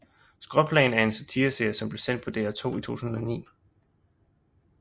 Skråplan er en satireserie som blev sendt på DR2 i 2009